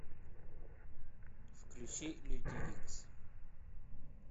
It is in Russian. включи люди икс